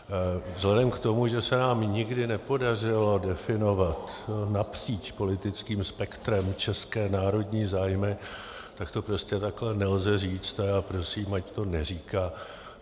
Vzhledem k tomu, že se nám nikdy nepodařilo definovat napříč politickým spektrem české národní zájmy, tak to prostě takhle nelze říct a já prosím, ať to neříká.